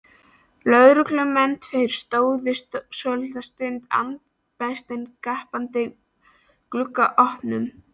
Lögreglumennirnir tveir stóðu svolitla stund andspænis gapandi gluggaopunum.